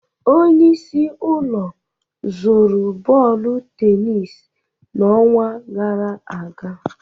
Onye isi ụlọ zụrụ bọọdụ tenis n'ọnwa gara aga